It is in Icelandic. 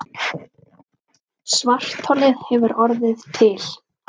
Svartholið hefur orðið til.